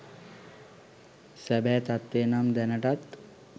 සැබෑ තත්වය නම් දැනටත්